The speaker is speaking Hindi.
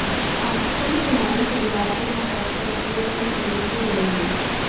पाकिस्तानी खिलाड़ी शनिवार को यहां पहुंचकर अपनी अपनी टीमों से जुड़ेंगे